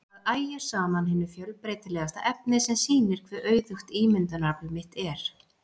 Það ægir saman hinu fjölbreytilegasta efni sem sýnir hve auðugt ímyndunarafl mitt er.